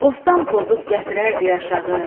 Bostan pozub gətirərdi yaşığı,